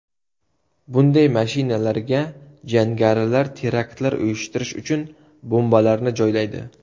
Bunday mashinalarga jangarilar teraktlar uyushtirish uchun bombalarni joylaydi.